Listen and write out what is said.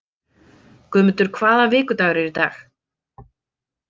Guðmundur, hvaða vikudagur er í dag?